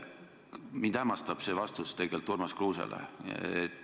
Mind hämmastab tegelikult teie vastus Urmas Kruusele.